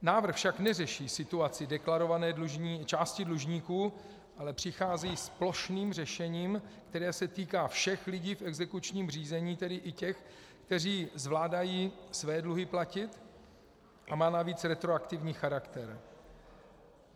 Návrh však neřeší situaci deklarované části dlužníků, ale přichází s plošným řešením, které se týká všech lidí v exekučním řízení, tedy i těch, kteří zvládají své dluhy platit, a má navíc retroaktivní charakter.